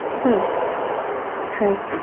হমম হ্যাঁ